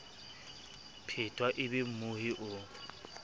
phetwa e be mmohi o